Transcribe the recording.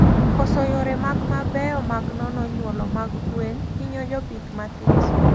Koso yore mag mabeyo mag nono nyuolo mag gwen hinyo jopith mathiso